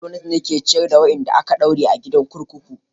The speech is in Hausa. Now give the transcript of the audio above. Gwamnati ce ke ciyar da wadanda aka daure a gidan kurkuku.